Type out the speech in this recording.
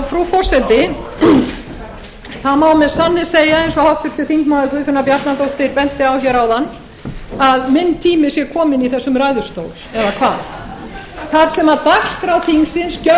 frú forseti það má með sanni segja eins og háttvirtur þingmaður guðfinna bjarnadóttir benti á hér áðan að minn tími sé kominn í þessum ræðustól eða hvað þar sem dagskrá þingsins gjörvallri dagskrá þingsins